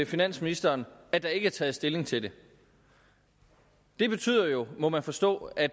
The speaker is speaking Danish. finansministeren at der ikke er taget stilling til det det betyder jo må man forstå at